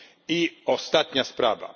ma. I ostatnia sprawa.